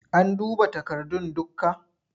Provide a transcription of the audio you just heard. An duba takardun dukka?